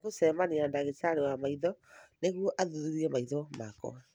Nĩ gũcemania na ndagĩtarĩ wa maitho nĩguo athuthurie maitho makwa